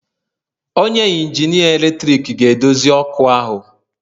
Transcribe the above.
Onye injinia eletrik ga-edozi ọkụ ahu